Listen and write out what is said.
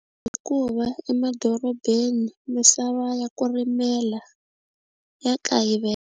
Hikuva emadorobeni misava ya ku rimela ya .